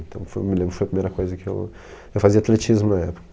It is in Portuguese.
Então, me lembro que foi a primeira coisa que eu... Eu fazia atletismo na época.